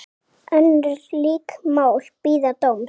Önnur lík mál bíða dóms.